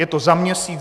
Je to za měsíc?